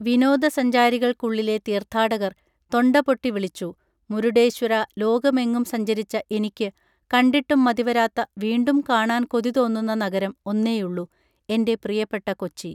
വിനോദ സഞ്ചാരികൾക്കുളളിലെ തീർത്ഥാടകർ തൊണ്ടപൊട്ടി വിളിച്ചു മുരുഡേശ്വരാ ലോകമെങ്ങും സഞ്ചരിച്ച എനിക്ക് കണ്ടിട്ടും മതിവരാത്ത വീണ്ടും കാണാൻ കൊതിതോന്നുന്ന നഗരം ഒന്നേയുള്ളൂ എന്റെ പ്രിയപ്പെട്ട കൊച്ചി